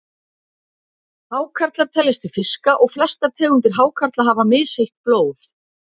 Hákarlar teljast til fiska og flestar tegundir hákarla hafa misheitt blóð.